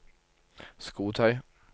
skotøy